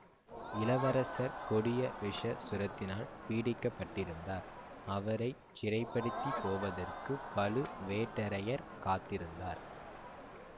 இளவரசர் கொடிய விஷ சுரத்தினால் பீடிக்கப்பட்டிருந்தார் அவரை சிறைப்படுத்திப் போவதற்குப் பழுவேட்டரையர் காத்திருந்தார்